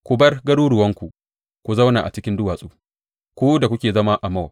Ku bar garuruwanku ku zauna a cikin duwatsu, ku da kuke zama a Mowab.